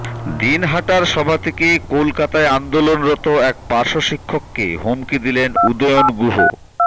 দিনহাটার সভা থেকে কলকাতায় আন্দোলনরত এক পার্শ্বশিক্ষককে হুমকি দিলেন উদয়ন গুহ